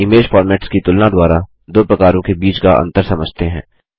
image formats की तुलना द्वारा दो प्रकारों के बीच का अंतर समझते हैं